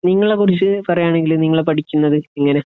നിങ്ങളെ കുറിച്ച് പറയാണെങ്കിൽ നിങ്ങൾ പഠിക്കുന്നത് എങ്ങനെ